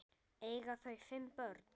Eiga þau fimm börn.